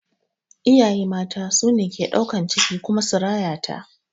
Iyaye mata ne suke ɗaukan ciki su kuma rayata